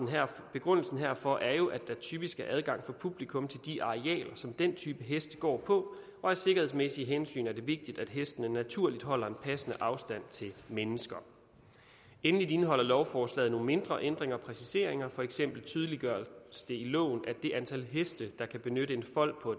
begrundelsen herfor er jo at der typisk er adgang for publikum til de arealer som den type heste går på og af sikkerhedsmæssige hensyn er det vigtigt for at hestene naturligt holder en passende afstand til mennesker endelig indeholder lovforslaget nogle mindre ændringer og præciseringer for eksempel tydeliggøres det i loven at det antal heste der kan benytte en fold på